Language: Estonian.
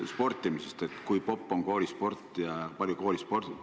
Kõik oleneb sellest, kui popp on koolisport, kui palju koolis sporti tehakse.